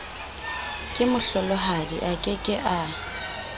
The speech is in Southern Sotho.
kemohlolohadi a ke ke a